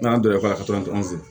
N'an donna ka to an fɛ yen